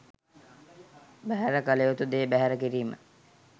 බැහැර කළ යුතු දේ බැහැර කිරීම